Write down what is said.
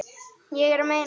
Ég er að meina.